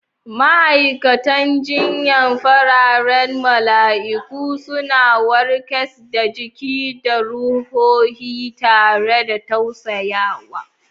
Ma'aikatan jinya, fararen mala'iku, suna warkas da jiki da ruhohi tare da tausayawa.